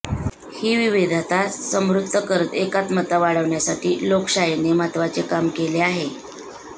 ही विविधता समृद्ध करत एकात्मता वाढवण्यासाठी लोकशाहीने महत्त्वाचे काम केले आहे